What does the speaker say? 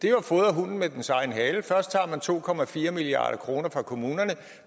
er jo at fodre hunden med dens egen hale først tager man to milliard kroner fra kommunerne